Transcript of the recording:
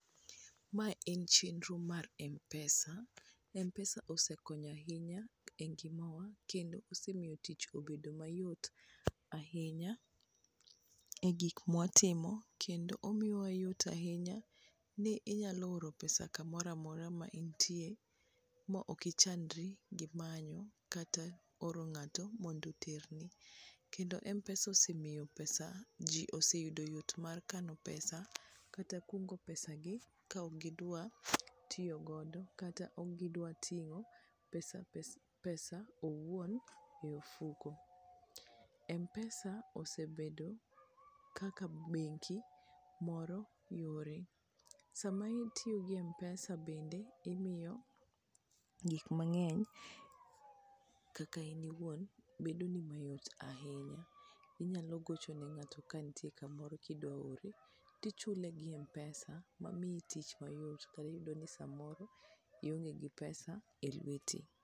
Ma en chenro mar mpesa mpesa osekonyo ahinya e ngima wa kendo osemiyo tich obedo mayot ahinya e gik mwatimo kendo omiyo wa yot ahinya ni inyalo oro pesa kamora mora ma intie ma ok ichandri gimanyo kata oro ng'ato mondo oterni kendo mpesa osemiyo pesa ji oseyudo yot mar kano pesa kata kungo pesa gi ka ok gidwa tiyo godo kata ko ok gidwar ting'o pesa owuon e ofuko, mpesa osebedo kaka bengo moro yore, sama itiyo gi mpesa bende imiyo gik mang'eny kaka in iwuon bedo ni mayot ahinya inyalo gocho ne ng'ato ka nitie kamoro kidwa oroe tichule gi mpesa ma miyi tich mayot kata iyudo ni samoro ionge gi pesa e lweti